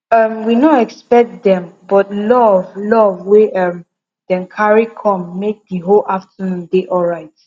um we no expect dem but love love wey um dem carry com make the whole afternoon dey alright